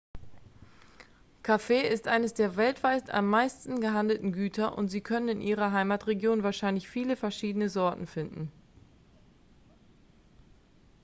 kaffee ist eines der weltweit am meisten gehandelten güter und sie können in ihrer heimatregion wahrscheinlich viele verschiedene sorten finden